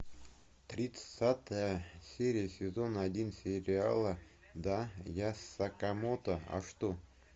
тридцатая серия сезона один сериала да я сакамото а что